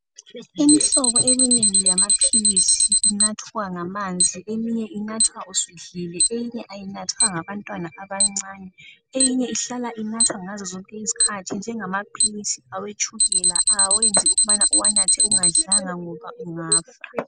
Imihlobo eminengi yamaphilisi inathwa ngamanzi eminye inathwa usudlile eyinye ayinathwa ngabantwana abancane eyinye ihlala inathwa ngazozonke isikhathi njengama philizi etshukela awayenzi ukubana uwanathe ungadlanga ngoba ungafa.